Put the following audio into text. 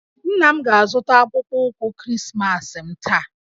Nna m ga-azụta akpụkpọ ụkwụ Krismas m taa